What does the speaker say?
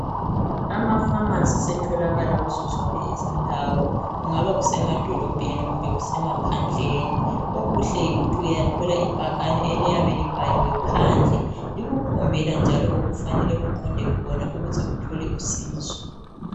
Amafamasi setholakala kuzo zonke izindawo, kungaba kusemadolobheni kumbe kusemaphandleni. Okuhle yikuthi uyathola ibhakani eliyabe libhaliwe phandle likukhombela njalo okufanele uqonde khona ukuthi uthole usizo.